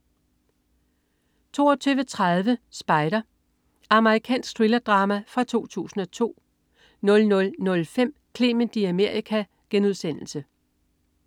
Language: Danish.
22.30 Spider. Amerikansk thrillerdrama fra 2002 00.05 Clement i Amerika*